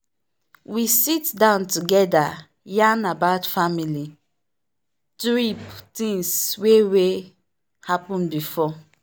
we sit down together yarn about family trip tings wey wey happen before.